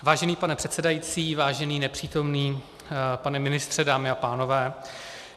Vážený pane předsedající, vážený nepřítomný pane ministře, dámy a pánové.